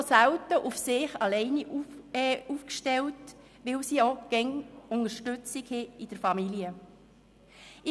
Sie sind halt auch selten auf sich alleine gestellt, weil sie die Unterstützung der Familie haben.